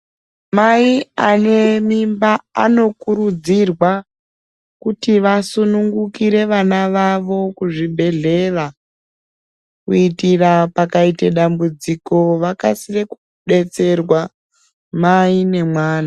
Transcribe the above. Mai anemimba anokurudzirwa kuti vasunungukire vana vavo kuzvibhedhlera. Kuitira pakaite dambudziko vakasire kubetserwa mai nemwana.